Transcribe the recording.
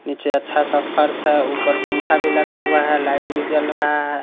नीचे अच्छा सा फर्श है ऊपर पंखा भी लगा हुआ है लाईट भी जल रहा है।